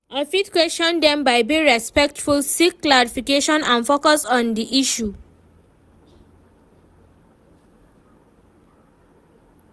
I fit question dem by being respectful, seek clarification and focus on di issue.